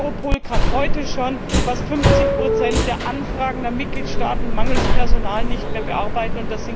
Europol kann heute schon fast 50 der Anfragen der Mitgliedstaaten mangels Personal nicht mehr bearbeiten.